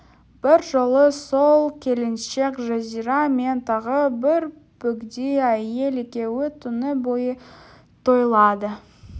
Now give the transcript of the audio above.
бір жолы сол келіншек жазира мен тағы бір бөгде әйел екеуі түні бойы тойлады